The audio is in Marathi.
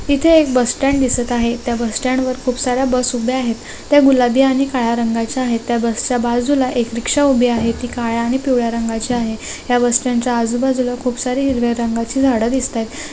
इते एक बस स्टैंड दिसता है इते बस स्टैंड पर खूब सारा बस हुबा है ते गुलाबी हानि खड़ा रंगा चा हते बस चा बाज़ूला एक रिक्शा हॉबिय यह बस स्टैंड के आज़ू बाज़ूला खूब सारी हरे रंगची धाड़ी दिसता हाई।